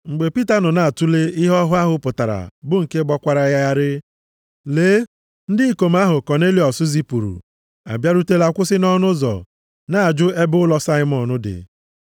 Mgbe Pita nọ na-atule ihe ọhụ ahụ pụtara bụ nke gbakwara ya gharịị, lee, ndị ikom ahụ Kọnelịọs zipụrụ abịarutela kwụsị nʼọnụ ụzọ, na-ajụ ebe ụlọ Saimọn dị.